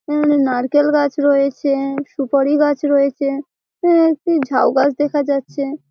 এ-এ নারকেল গাছ রয়েছে সুপারি গাছ রয়েছে এবং এ একটি ঝাউগাছ দেখা যাচ্ছে।